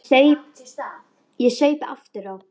Ég saup aftur á.